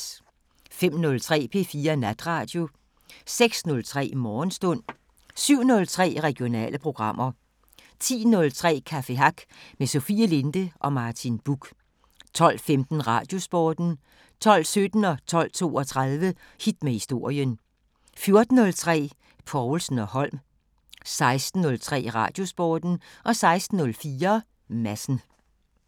05:03: P4 Natradio 06:03: Morgenstund 07:03: Regionale programmer 10:03: Café Hack med Sofie Linde og Martin Buch 12:15: Radiosporten 12:17: Hit med historien 12:32: Hit med historien 14:03: Povlsen & Holm 16:03: Radiosporten 16:04: Madsen